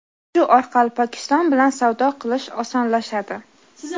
Shu orqali Pokiston bilan savdo qilish osonlashadi.